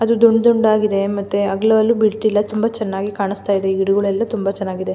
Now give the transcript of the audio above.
ಅದು ಡುಂಡ್ ಡುಂಡ್ ಆಗಿದೆ ಮತ್ತೆ ಅಗಲಎಲ್ಲು ಬಿಡ್ತಿಲ್ಲ ತುಂಬಾ ಚೆನ್ನಾಗಿ ಕಾಣಿಸ್ತಾಇದೆ. ಗಿಡಗುಳೆಲ್ಲ ತುಂಬಾ ಚೆನ್ನಾಗಿ ಇದೆ.